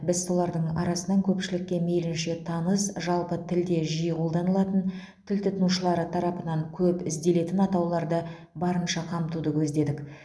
біз солардың арасынан көпшілікке мейлінше таныс жалпы тілде жиі қолданылатын тіл тұтынушылары тарапынан көп ізделетін атауларды барынша қамтуды көздедік